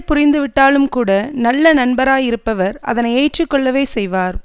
புரிந்து விட்டாலும்கூட நல்ல நண்பராயிருப்பவர் அதனை ஏற்று கொள்ளவே செய்வார்